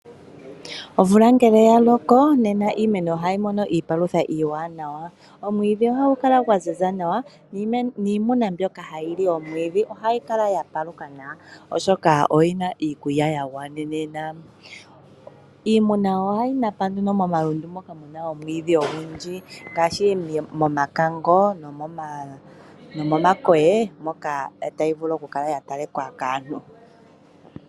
Omvula ngele ya loko, nena iimeno ohayi mono iipalutha iiwanawa. Omwiidhi ohagu kala gwa ziza nawa, niimuna mbyoka hayi li omwiidhi ohayi kala ya paluka nawa oshoka oyi na iikulya ya gwanenena. Iimuna ohayi napa nduno momalundu moka mu na omwiidhi ogundji ngaashi momakango nomomankolo moka tayi vulu okukala ya talika kaantu.